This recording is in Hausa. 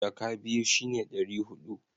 jaka biyu shi ne dari hudu